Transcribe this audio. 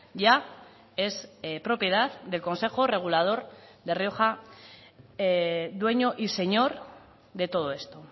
ya es propiedad del consejo regulador de rioja dueño y señor de todo esto